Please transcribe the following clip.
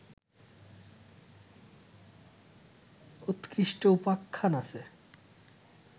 উৎকৃষ্ট উপাখ্যান আছে